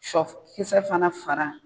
Sɔ kisɛ fana fara